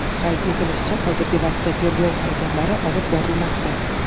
Qayd etilishicha, hozirgi vaqtda tergov harakatlari olib borilmoqda.